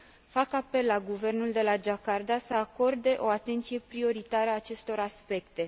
Fac apel la guvernul de la Jakarta să acorde o atenție prioritară acestor aspecte.